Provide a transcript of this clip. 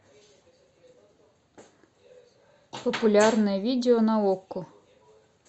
популярное видео на окко